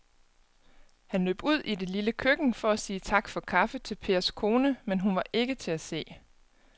Han løb ud i det lille køkken for at sige tak for kaffe til Pers kone, men hun var ikke til at se.